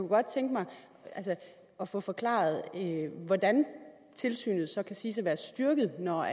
godt tænke mig at få forklaret hvordan tilsynet så kan siges at være styrket når